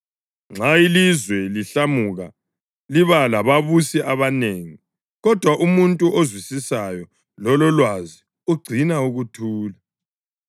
Nxa ilizwe lihlamuka liba lababusi abanengi, kodwa umuntu ozwisisayo lololwazi ugcina ukuthula.